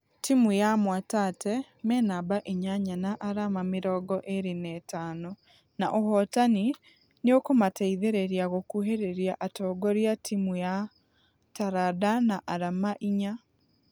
Timũ ya mwatate menamba inyanya na arama mĩrongo ĩrĩ na ĩtano na ũhotani nĩũkũmateithereria gũkuhereria atongoria timũ ya taranda na arama inya.